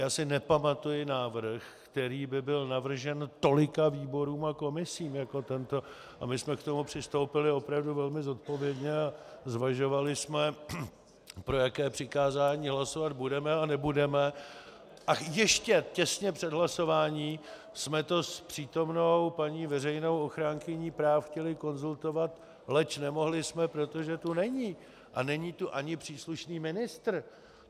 Já si nepamatuji návrh, který by byl navržen tolika výborům a komisím jako tento, a my jsme k tomu přistoupili opravdu velmi zodpovědně a zvažovali jsme, pro jaké přikázání hlasovat budeme a nebudeme, a ještě těsně před hlasováním jsme to s přítomnou paní veřejnou ochránkyní práv chtěli konzultovat, leč nemohli jsme, protože tu není a není tu ani příslušný ministr.